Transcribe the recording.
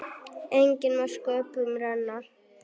Enginn má sköpum renna.